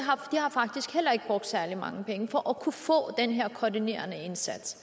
faktisk heller ikke brugt særlig mange penge for at kunne få den her koordinerende indsats